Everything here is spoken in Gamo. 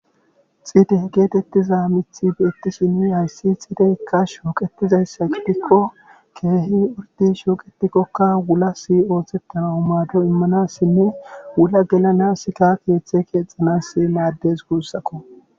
Xiide geetettiza mithi beettishini hayssi xiideykka shooqetizayssa qidikko keehi urdin shooqetikkokka wula si oohthettana u maado immanassinne wula gelanasika keeththe keexanasi maaddes guussakko.